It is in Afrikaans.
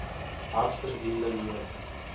hard verdiende loon